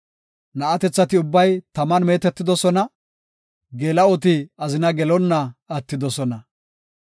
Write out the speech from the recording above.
Na7atethati ubbay taman meetetidosona; geela7oti azina gelonna attidosona.